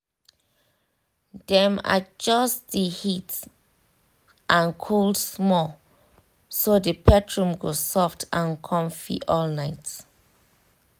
um dem adjust the heat/cold small so the pet room go soft and comfy all night